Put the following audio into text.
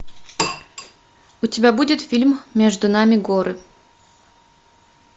у тебя будет фильм между нами горы